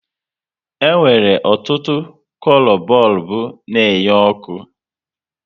E nwere ọtụtụ kolo bọlbụ na enye oku